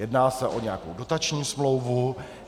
Jedná se o nějakou dotační smlouvu?